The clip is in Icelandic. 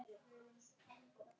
Hann gekk um gólf.